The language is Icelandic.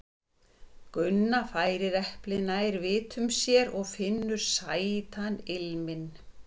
Gunna færir eplið nær vitum sér og finnur sætan ilminn.